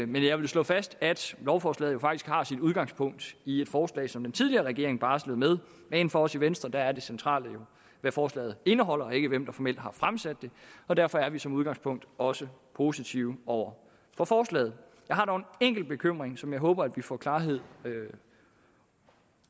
men jeg vil slå fast at lovforslaget jo faktisk har sit udgangspunkt i et forslag som den tidligere regering barslede med men for os i venstre er det centrale hvad forslaget indeholder ikke hvem der formelt har fremsat det og derfor er vi som udgangspunkt også positive over for forslaget jeg har dog en enkelt bekymring som jeg håber at vi får klarhed